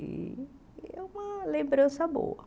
E é uma lembrança boa.